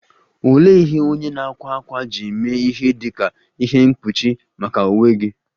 Olee ihe onye na - akwa akwa ji mee ihe dị ka ihe mkpuchi maka uwe gị?